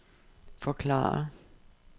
forklare